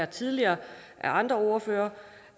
tidligere af andre ordførere